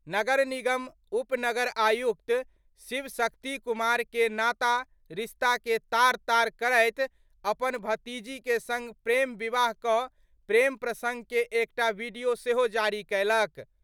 नगर निगम उप नगर आयुक्त शिव शक्ति कुमार के नाता रिश्ता के तार तार करैत अपन भतीजी के संग प्रेम विवाह क' प्रेम प्रसंग के एकटा वीडियो सेहो जारी कयलक।